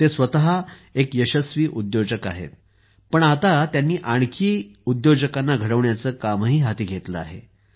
ते स्वत एक यशस्वी उद्योजक आहेत पण आता त्यांनी आणखी काही उद्योजकांना घडविण्याचे कामही हाती घेतले आहे